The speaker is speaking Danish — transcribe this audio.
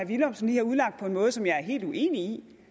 villumsen lige har udlagt på en måde som jeg er helt uenig